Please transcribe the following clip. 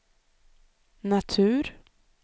natur